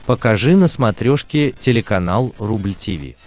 покажи на смотрешке телеканал рубль ти ви